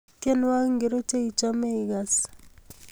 Tyenwogik ngircho cheichame igase